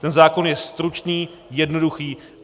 Ten zákon je stručný, jednoduchý.